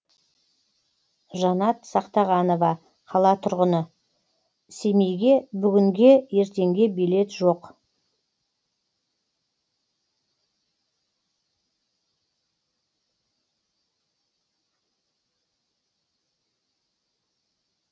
жанат сақтағанова қала тұрғыны семейге бүгінге ертеңге билет жоқ